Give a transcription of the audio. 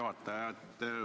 Hea kolleeg!